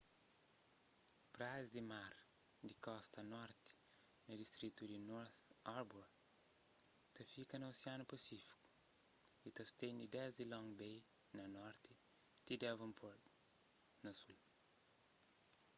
praias di mar di kosta di norti na distritu di north harbour ta fika na osianu pasífiku y ta stende desdi long bay na norti ti devonport na sul